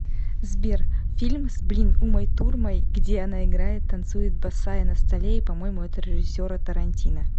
сбер фильм с блин умой турмай где она играет танцует босая на столе и по моему это режиссера тарантино